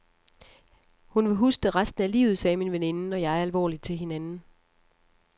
Hun vil huske det resten af livet, sagde min veninde og jeg alvorligt til hinanden.